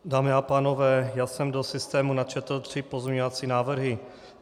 Dámy a pánové, já jsem do systému načetl tři pozměňovací návrhy.